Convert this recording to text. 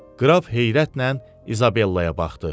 Qraf heyrətlə İzabellaya baxdı.